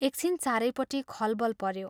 एकछिन चारैपट्टि खलबल पऱ्यो ।